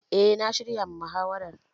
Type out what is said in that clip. Eh na shirya ma muhawarar